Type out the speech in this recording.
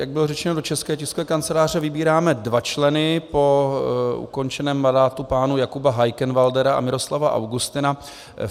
Jak bylo řečeno, do České tiskové kanceláře vybíráme dva členy po ukončeném mandátu pánů Jakuba Heikenwäldera a Miroslava Augustina.